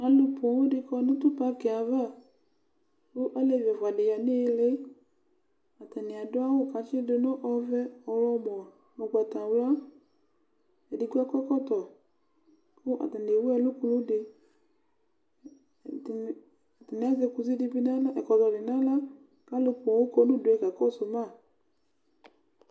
Alʊ ƒoo dɩ kɔ nʊ tʊ pakɩ yɛ ava, kʊ alevɩ ɛfʊa dɩ ƴa nɩɩlɩ, atanɩvadʊ awʊ kʊatsɩdʊ nʊ ɔvɛ, ɔwlɔmɔ nʊ ʊgbatawla Edɩgbo akɔ ɛkɔtɔ kʊ atanɩ ewʊ ɛlʊ kʊlʊ dɩ Ɛdɩnɩ bɩ azɛvɛkɔtɔ nawla kalʊ ƒoo kɔ nʊdʊe kakɔsʊ ma